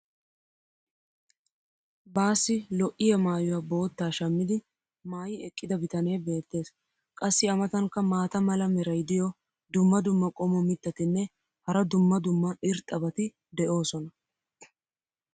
Baassi lo'iya maayuwa boottaa shammidi maayi eqqida bitanee beetees. qassi a matankka maata mala meray diyo dumma dumma qommo mitattinne hara dumma dumma irxxabati de'oosona.